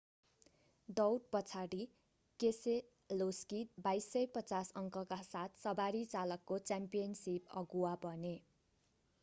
दौड पछाडि केसेलोस्की 2,250 अङ्कका साथ सवारी चालकको च्याम्पियनशिप अगुवा बने